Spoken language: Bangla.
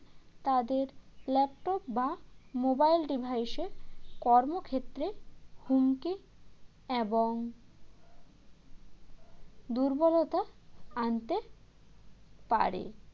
তাদের laptop বা mobile device এ কর্মক্ষেত্রে হুমকি এবং দুর্বলতা আনতে পারে